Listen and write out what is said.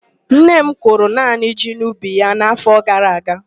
Nne m kụrụ naanị ji n'ubi ya n' áfọ gara aga.